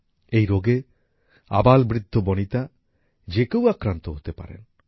এই রোগে আবালবৃদ্ধবণিতা যে কেউ আক্রান্ত হতে পারেন